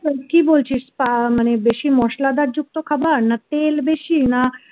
কি বলছিস বেশি মসলাদার যুক্ত খাবার না তেল বেশি না